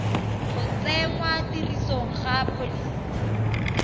go tsenngwa tirisong ga pholisi